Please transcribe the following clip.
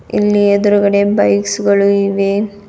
ಇಲ್ಲಿ ಎದ್ರುಗಡೆ ಬೈಕ್ಸ್ ಗಳು ಇವೆ.